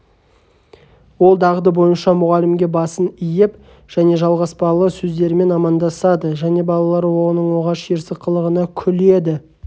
ол дағды бойынша мұғалімге басын иіп және жалғаспалы сөздерімен амандасады балалар оның оғаш ерсі қылығына күледі